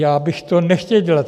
Já bych to nechtěl dělat.